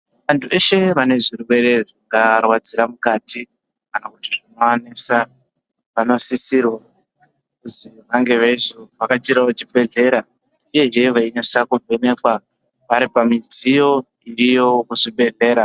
Antu eshe vane zvirwere zvingarwadzira mukati kana kuti zvinovanesa vanosisirwe kuzi vange veizovhakachirawo chiibhedhlera uyezve veinasa kuvhenekwa vari pamidziyo iyo muzvibhedhlera.